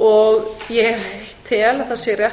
og ég tel að það sé rétt